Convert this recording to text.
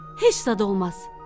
Heç zad olmaz.